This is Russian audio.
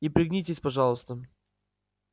и пригнитесь пожалуйста